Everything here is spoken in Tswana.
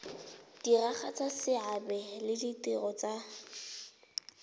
diragatsa seabe le ditiro tsa